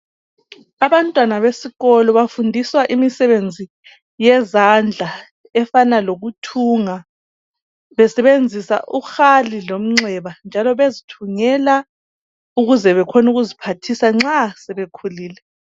Abantwana besikolo bafundiswa imisebenzi yezandla efana lokuthunga besebenzisa uhali lomxeba njalo bezithungela ukuze bekhone ukuziphathisa nxa sebekhulile